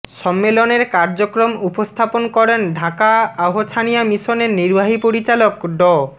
সম্মেলনের কার্যক্রম উপস্থাপন করেন ঢাকা আহছানিয়া মিশনের নির্বাহী পরিচালক ড